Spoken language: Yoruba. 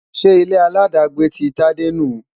Ṣé ilé-aláàdágbé ti Tade nu?